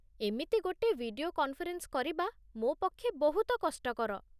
ଏମିତି ଗୋଟେ video conference କରିବା ମୋ ପକ୍ଷେ ବହୁତ କଷ୍ଟକର।